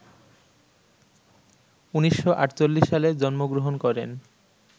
১৯৪৮ সালে জন্মগ্রহণ করেন